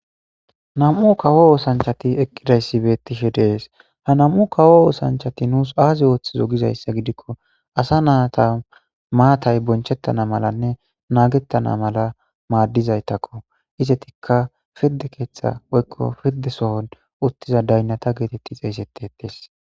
Nam'u kawo ossanichati eqidayisi betishe deyesi. Ha nam'u kawo osanchati nusi azi othida gidiko assa nata mattayi bonchetana malanne nagetana mala madizayitako izatika piride ketha woyiko piride soni utidda dayinata geteti xegetesi.